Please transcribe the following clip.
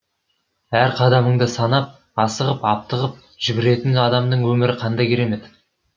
әр қадамыңды санап асығып аптығып жүгіретін адамның өмірі қандай керемет